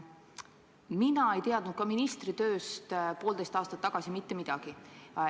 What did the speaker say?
Mina ei teadnud ka ministritööst poolteist aastat tagasi mitte midagi.